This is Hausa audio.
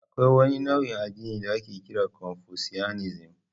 Akwai wani nau'in addini da ake kira confucianism.